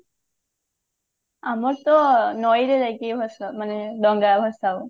ଆମର ତ ନଈରେ ଯାଇକି ଭସାଉ ମାନେ ଡଙ୍ଗା ଭସା ହୁଏ